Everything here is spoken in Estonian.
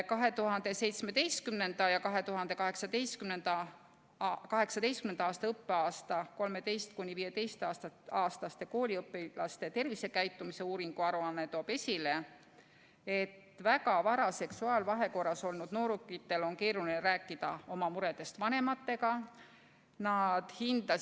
2017/2018. õppeaasta 13–15-aastaste kooliõpilaste tervisekäitumise uuringu aruanne toob esile, et väga vara seksuaalvahekorras olnud noorukitel on keeruline oma muredest vanematega rääkida.